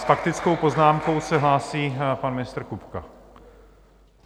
S faktickou poznámkou se hlásí pan ministr Kupka.